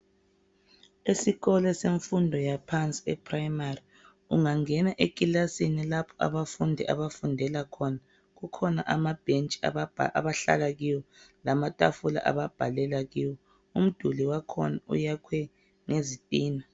Esikolo semfundo yaphansi e primary ungangena ekilasini lapho abafundi abafunda khona kukhona amabhentshi abahlala kiwo lamatafula ababhalela kiwo umduli wakhona uyakhwe ngezitina